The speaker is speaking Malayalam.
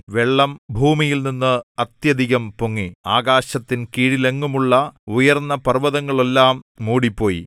വെള്ളം ഭൂമിയിൽ അത്യധികം പൊങ്ങി ആകാശത്തിൻ കീഴിലെങ്ങുമുള്ള ഉയർന്ന പർവ്വതങ്ങളെല്ലാം മൂടിപ്പോയി